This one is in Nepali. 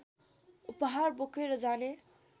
उपहार बोकेर जाने